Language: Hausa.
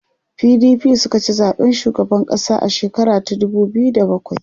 PDP sukaci zaɓen shugaban ƙasa a shekara ta dubu biyu da bakwai